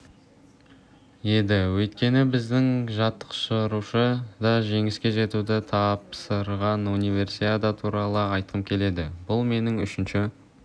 еді өйткені біздің жаттықтырушы да жеңіске жетуді тапсырған универсиада туралы айтқым келеді бұл менің үшінші